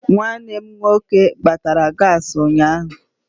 Nwanne m nwoke gbatara gaasị ụnyaahụ.